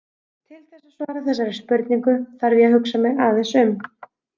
Til þess að svara þessari spurningu þarf ég að hugsa mig aðeins um.